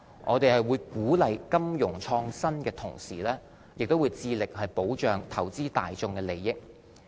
在鼓勵金融創新的同時，我們亦會致力保障投資大眾的利益。